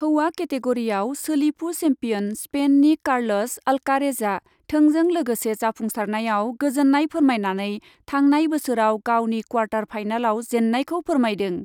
हौवा केटेगरियाव सोलिफु सेम्पियन स्पेननि कार्लस अल्कारेजआ थोंजों लोगोसे जाफुंसारनायाव गोजोन्नाय फोरमायनानै थांनाय बोसोराव गावनि क्वार्टार फाइनालाव जेन्नायखौ फोरमायदों।